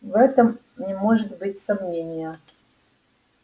в этом не может быть сомнения